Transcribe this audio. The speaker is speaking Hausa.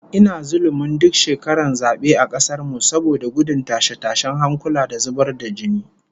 Ina zullumin duk shekaran zabe a kasar mu, saboda gudun tashe-tashen hankula da zubar da jini